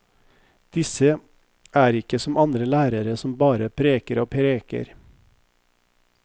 Disse er ikke som andre lærere som bare preker og preker.